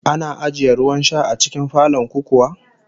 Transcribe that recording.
Ana ajiye ruwan sha a cikin falon ku kuwa?